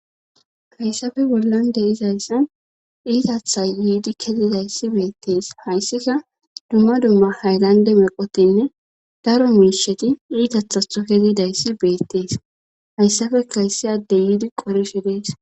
hayssafe bollon de izayssan iitatha yiidi kezidayssi beettees hayssika dumma dumma haylande meqotinne daro miisheti iitatha to kezidayssi beettees hayssafe kayssi adde yiidi qorishe dees